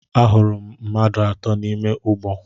Ahụrụ m mmadụ atọ nọ n'ime ụgbọ.